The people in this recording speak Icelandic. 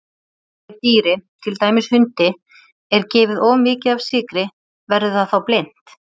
Ef dýri, til dæmis hundi, er gefið of mikið af sykri verður það þá blint?